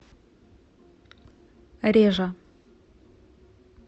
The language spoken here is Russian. режа